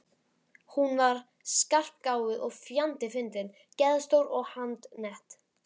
Hún var skarpgáfuð og fjandi fyndin, geðstór og handnett.